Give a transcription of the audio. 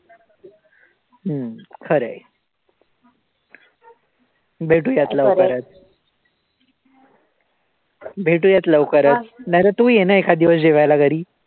हम्म खरंय भेटूयात लवकरच नाही तर तू ये ना एखादी वेळेस जेवायला घरी.